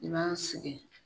I b'a segen.